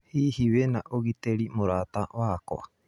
Hihi wĩna ũgitĩri mũrata wakwa?